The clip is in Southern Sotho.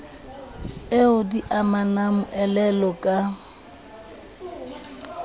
eo di amang moelolo ka